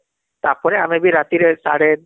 ତାପରେ ଆମେ ବି ରାତିରେ ସାଡେ